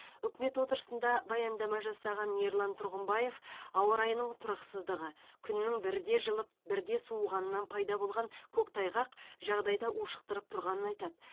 үкімет отырысында баяндама жасаған ерлан тұрғымбаев ауа райының тұрақсыздығы күннің бірде жылып бірде суығанынан пайда болған көктайғақ жағдайды ушықтырып тұрғанын айтады